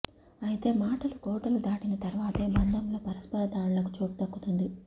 అయితే మాటలు కోటలు దాటిన తర్వాతే బంధంలో పరస్పర దాడులకు చోటు దక్కుతుంది